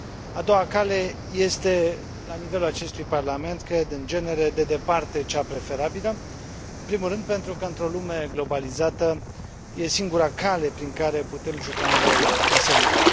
A doua cale este, la nivelul acestui Parlament, cred, în genere, de departe cea preferabilă, în primul rând pentru că într o lume globalizată este singura cale prin care putem juca un rol însemnat.